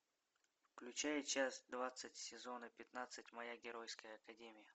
включай часть двадцать сезона пятнадцать моя геройская академия